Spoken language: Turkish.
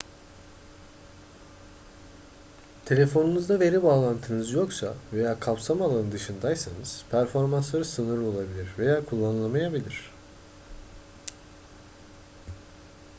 telefonunuzda veri bağlantınız yoksa veya kapsama alanı dışındaysanız performansları sınırlı olabilir veya kullanılamayabilir